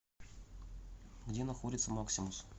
где находится максимус